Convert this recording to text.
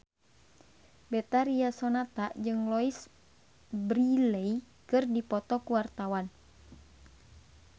Betharia Sonata jeung Louise Brealey keur dipoto ku wartawan